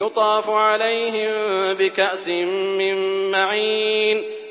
يُطَافُ عَلَيْهِم بِكَأْسٍ مِّن مَّعِينٍ